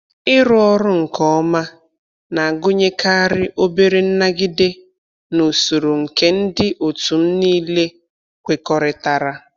Ịrụ ọrụ nke ọma na-agụnyekarị obere nnagide n' usoro nke ndị otu m niile kwekọrịtara.